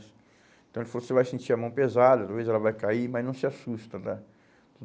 Então ele falou, você vai sentir a mão pesada, talvez ela vá cair, mas não se assusta, né?